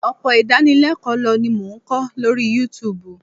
Ọpọ̀ idánilẹ́kọ̀lọ́ ni mo n ko lórí Youtube